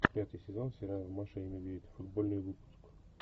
пятый сезон сериала маша и медведь футбольный выпуск